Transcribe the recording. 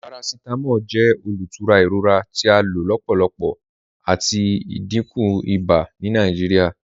Paracetamol jẹ olútúrà iròra tí a ló lọ́pọ̀lọ́pọ̀ àti ìdíkún ìbà ni Nàìjíríà.